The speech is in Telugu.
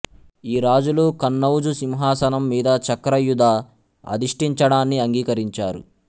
ఈ రాజులు కన్నౌజు సింహాసనం మీద చక్రయూధ అధిష్టించడాన్ని అంగీకరించారు